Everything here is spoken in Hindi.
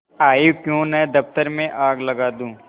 आयीक्यों न दफ्तर में आग लगा दूँ